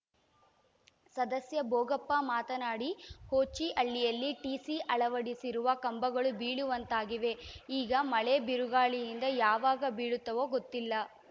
ಸದಸ್ಯ ಭೋಗಪ್ಪ ಮಾತನಾಡಿ ಹೋಚಿಹಳ್ಳಿಯಲ್ಲಿ ಟಿಸಿ ಅಳವಡಿಸಿರುವ ಕಂಬಗಳು ಬೀಳುವಂತಾಗಿವೆ ಈಗ ಮಳೆ ಬೀರುಗಾಳಿಯಿಂದ ಯಾವಾಗ ಬೀಳುತ್ತವೋ ಗೊತ್ತಿಲ್ಲ